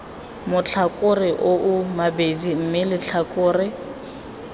matlhakore oo mabedi mme letlhakore